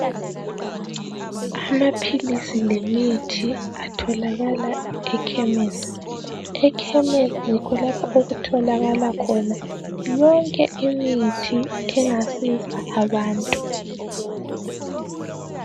Amaphilisi lemithi kutholakala emakhemisi. Ekhemisi yikho lapho okutholakala khona yonke imithi engasiza abantu.